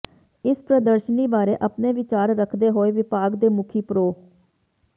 ਇਸ ਪ੍ਰਦਰਸ਼ਨੀ ਬਾਰੇ ਆਪਣੇ ਵਿਚਾਰ ਰੱਖਦੇ ਹੋਏ ਵਿਭਾਗ ਦੇ ਮੁਖੀ ਪ੍ਰਰੋ